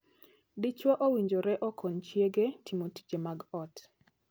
Dichwo owinjore okony chiege timo tije mag ot.